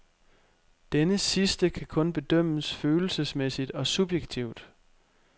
Denne sidste kan kun bedømmes følelsesmæssigt og subjektivt.